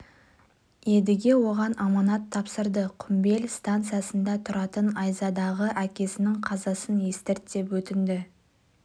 едіге оған аманат тапсырды құмбел станциясында тұратын айзадаға әкесінің қазасын естірт деп өтінді